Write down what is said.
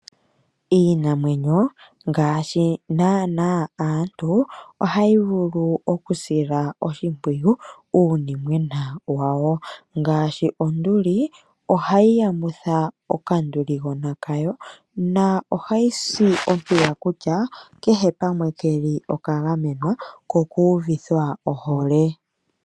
Iinamwenyo ngaashi naanaa aantu ohayi vulu okusila oshimpwiyu uunimwena wawo. Ngaashi onduli ohayi yamutha okanduligona kayo na ohayi si oshimpwiyu kutya kehe pamwe keli oka gamwena ko oku uvithwa ohole.